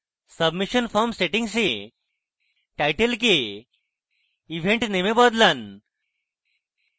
submission form settings এ title কে event name এ বদলান